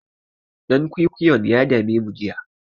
Ɗan kwikwiyon ya dame jiya.